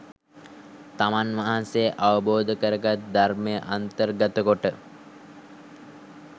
තමන් වහන්සේ අවබෝධ කර ගත් ධර්මය අන්තර්ගතකොට,